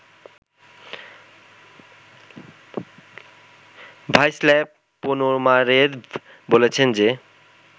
Vyacheslav Ponomarev বলেছেন যে